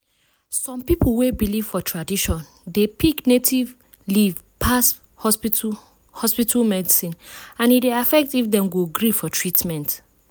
some people wey believe for tradition dey pick native leaf pass hospital hospital medicine and e dey affect if dem go gree for treatment.